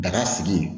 Daga sigi